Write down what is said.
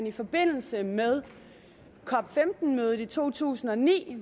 i forbindelse med cop15 mødet i to tusind og ni